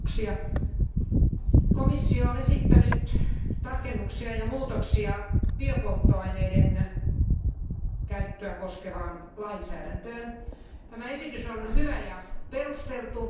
Arvoisa puhemies, komissio on esittänyt tarkennuksia ja muutoksia biopolttoaineiden käyttöä koskevaan lainsäädäntöön. Tämä esitys on hyvä ja perusteltu.